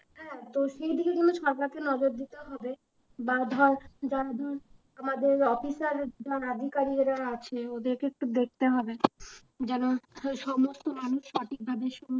হ্যাঁ তো সেই দিকে ধর সরকারকে নজর দিতে হবে বা ধর যারা ধর আমাদের office এ এরা আছে ওদেরকে একটু দেখতে হবে যেন সমস্ত মানুষ সঠিকভাবে সমস্ত